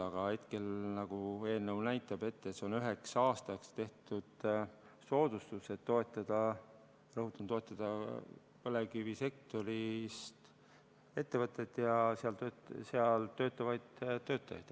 Aga hetkel eelnõu näitab, et see on üheks aastaks tehtud soodustus, et toetada, rõhutan, põlevkivisektori ettevõtteid ja seal töötavaid töötajaid.